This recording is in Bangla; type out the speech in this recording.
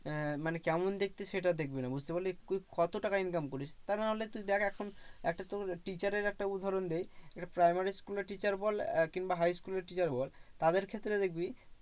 আহ মানে কেমন দেখতে সেটাও দেখবে না বুঝতে পারলি? তুই কত টাকা income করিস? তা নাহলে তুই দেখ এখন একটা teacher এর একটা উদাহরণ দিই। একটা primary school এর teacher বল কিংবা high school এর teacher বল, তাদের ক্ষেত্রে দেখবি